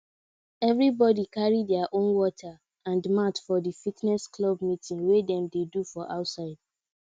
everybody carry their own water and mat for the fitness club meeting wey dem dey do for outside